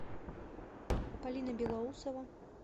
полина белоусова